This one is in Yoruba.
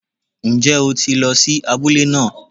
Ń jẹ́ o ti lo sí abúlé náà